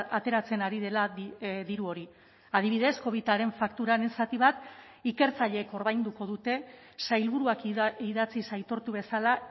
ateratzen ari dela diru hori adibidez covidaren fakturaren zati bat ikertzaileek ordainduko dute sailburuak idatziz aitortu bezala